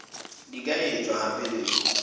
di ka etswa hape le